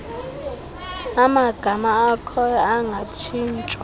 amagama akhoyo angatshintshwa